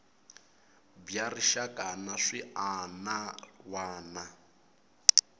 bya rixaka na swiana wana